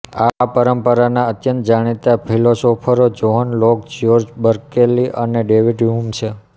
આ પરંપરાના અત્યંત જાણીતા ફિલોસોફરો જોહ્ન લોક જ્યોર્જ બર્કેલી અનેડેવીડ હ્યુમછે